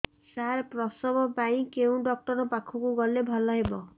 ସାର ପ୍ରସବ ପାଇଁ କେଉଁ ଡକ୍ଟର ଙ୍କ ପାଖକୁ ଗଲେ ଭଲ ହେବ